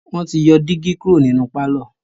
wọ́n ti yọ dígí kúrò ní pálọ̀.